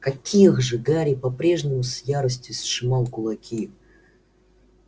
каких же гарри по-прежнему с яростью сжимал кулаки